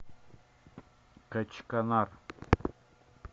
качканар